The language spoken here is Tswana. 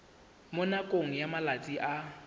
mo nakong ya malatsi a